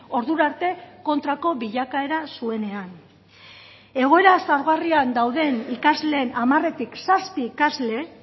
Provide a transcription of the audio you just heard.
ordura arte kontrako bilakaera zuenean egoera xahugarrian dauden ikasleen hamaretik zazpi ikasle